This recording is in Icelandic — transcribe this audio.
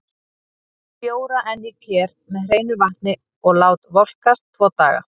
Legg bjóra enn í ker með hreinu vatni og lát volkast tvo daga.